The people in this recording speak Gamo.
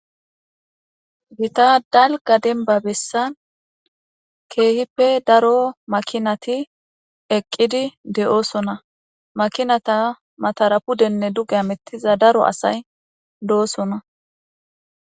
gita dalga denba bessan keehippe daro makinati eqqidi de7oosona makinata matarapudenne duge amettiza daro asay do7osona